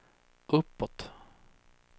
uppåt